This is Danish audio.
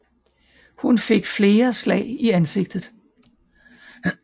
Hun fik flere slag i ansigtet